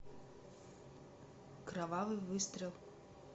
кровавый выстрел